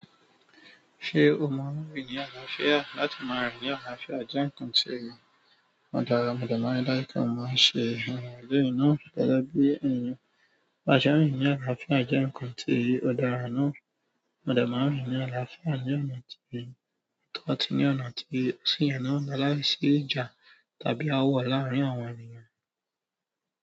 Ṣé o maa rín ni àlàáfíà? Láti máa rin ni àlàáfíà jẹ nǹkan tí ò dára, mo de maa ri dájú pé mo máa n ṣe eléyìí náà gẹ́gẹ́ bí ènìyàn. Ba ṣe n rin ni àlàáfíà jẹ nǹkan ti o dára náà, mo de máa n rin ni àlàáfíà ni ọnà ti o tó àti ni ọnà ti o sí yẹ náà, lalaisi ìjà tàbí aawọ larin àwọn ènìyàn.